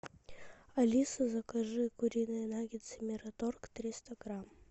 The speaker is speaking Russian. алиса закажи куриные наггетсы мираторг триста грамм